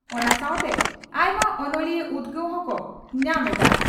ᱚᱱᱟ ᱥᱟᱣᱛᱮ ᱟᱭᱢᱟ ᱚᱱᱚᱞᱤᱭᱟᱹ ᱩᱫᱽᱜᱟᱹᱣ ᱦᱚᱸ ᱠᱚ ᱧᱟᱢ ᱮᱫᱼᱟ ᱾